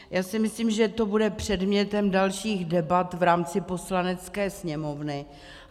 Já si myslím, že to bude předmětem dalších debat v rámci Poslanecké sněmovny.